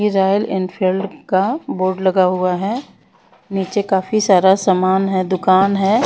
इरायल Enfield का board लगा हुआ है नीचे काफी सारा समान है दुकान है।